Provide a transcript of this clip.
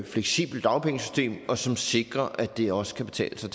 fleksibelt dagpengesystem og som sikrer at det også kan betale sig